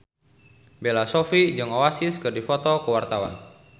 Bella Shofie jeung Oasis keur dipoto ku wartawan